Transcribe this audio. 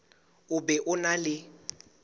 o be o na le